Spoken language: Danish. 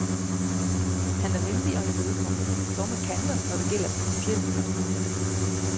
Han er venlig og imødekommende, dog med kanter, når det gælder principielle spørgsmål.